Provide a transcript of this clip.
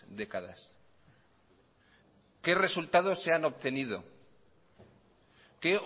décadas qué resultados se han obtenido qué